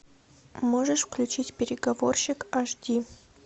можешь включить переговорщик аш ди